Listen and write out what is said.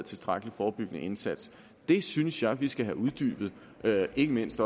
tilstrækkelig forebyggende indsats det synes jeg vi skal have uddybet ikke mindst